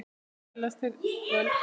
Því þannig öðlast þeir völd.